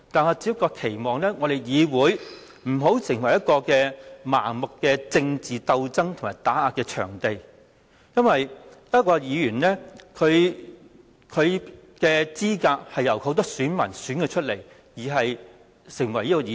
可是，我期望議會不要成為一個盲目的政治鬥爭和打壓場地，因為一名議員是由很多選民投票選出，才可以成為議員。